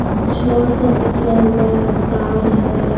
छड़ सब निकला हुआ है तार है।